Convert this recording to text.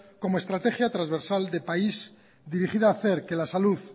como estrategia transversal de país dirigida a hacer que la salud